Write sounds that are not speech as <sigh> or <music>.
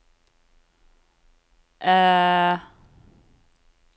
<hesitation>